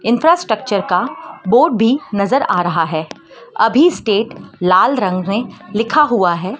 Infrastructure का board भी नजर आ रहा है अभी स्टेट लाल रंग में लिखा हुआ है।